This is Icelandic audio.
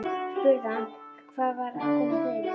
Ég spurði hann hvað væri að koma fyrir mig.